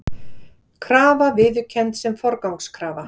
Krafa viðurkennd sem forgangskrafa